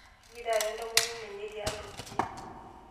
Kejii taa entomononi enye tialo ninye?